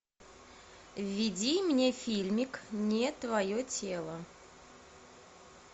введи мне фильмик не твое тело